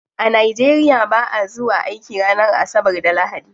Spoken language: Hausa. A nigeria ba'a zuwa aiki ranar asabar da lahadi.